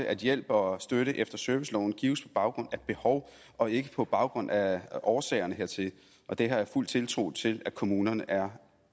at hjælp og støtte efter serviceloven gives på baggrund af behov og ikke på baggrund af årsagerne hertil det har jeg fuld tiltro til at kommunerne er